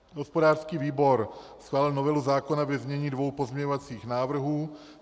Hospodářský výbor schválil novelu zákona ve znění dvou pozměňovacích návrhů.